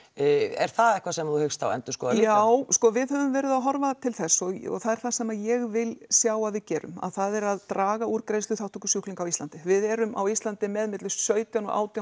er það eitthvað sem þú hyggst endurskoða líka já sko við höfum verið að horfa til þess og það er það sem ég vil sjá að við gerum það er að draga úr greiðsluþátttöku sjúklinga á Íslandi við erum á Íslandi með milli sautján og átján